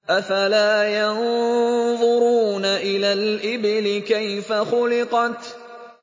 أَفَلَا يَنظُرُونَ إِلَى الْإِبِلِ كَيْفَ خُلِقَتْ